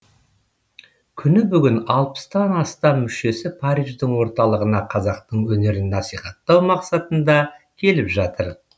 күні бүгін алпыстан астам мүшесі париждің орталығына қазақтың өнерін насихаттау мақсатында келіп жатыр